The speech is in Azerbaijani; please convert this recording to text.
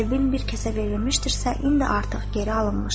“Qəlbim bir kəsə verilmişdirsə, indi artıq geri alınmışdır.”